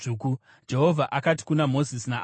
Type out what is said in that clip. Jehovha akati kuna Mozisi naAroni,